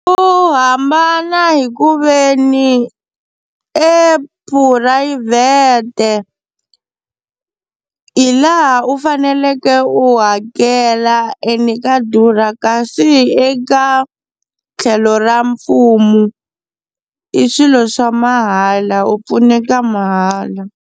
U hambana hi ku veni e phurayivhete hi laha u faneleke u hakela ene ka durha kasi eka tlhelo ra mfumo i swilo swa mahala u pfuneka mahala.